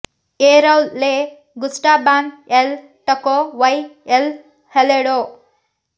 A ರೌಲ್ ಲೆ ಗುಸ್ಟಾಬಾನ್ ಎಲ್ ಟಕೊ ವೈ ಎಲ್ ಹೆಲೆಡೊ